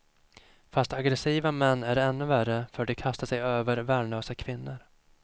Fast aggressiva män är ännu värre för de kastar sig över värnlösa kvinnor.